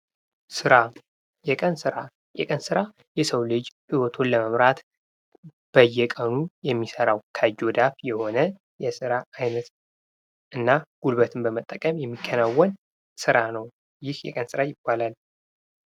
ሥራ የቀን ስራ የሰው ልጅ ህይወቱን ለመምራት በየቀኑ የሚሰራው ከእጅ ወደ አፍ የሆነ የሥራ ዓይነት እና ጉልበቱን በመጠቀምም የሚከናወን ሥራ ነው። ይህ የቀን ሥራ ይባላል።